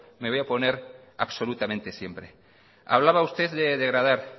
me voy a oponer absolutamente siempre hablaba usted de degradar